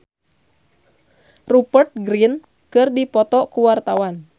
Pevita Pearce jeung Rupert Grin keur dipoto ku wartawan